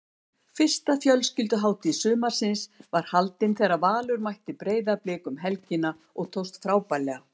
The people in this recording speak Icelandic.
Fyrsta fjölskylduhátíð sumarsins var haldin þegar Valur mætti Breiðablik um helgina og tókst frábærlega.